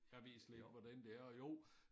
Jeg ved slet ikke hvordan det er og jo